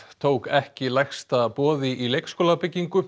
tók ekki lægsta boði í